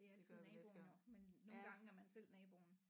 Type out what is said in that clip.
Det er altid naboerne men nogle gange er man selv naboen